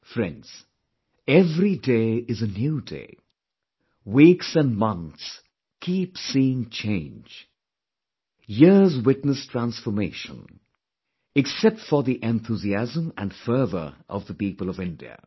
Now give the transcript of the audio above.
Friends, every day is a new day; weeks and months keep seeing change; years witness transformation, except for the enthusiasm and fervor of the people of India